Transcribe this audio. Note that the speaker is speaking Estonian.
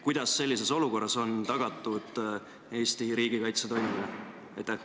Kuidas sellises olukorras on tagatud Eesti riigikaitse toimimine?